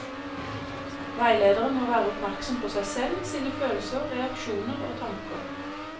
Veilederen må være oppmerksom på seg selv, sine følelser, reaksjoner og tanker.